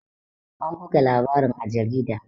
An buga labarin a jarida